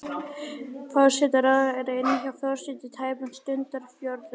Forsætisráðherra er inni hjá forseta í tæpan stundarfjórðung.